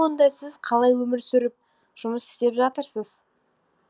онда сіз қалай өмір сүріп жұмыс істеп жатырсыз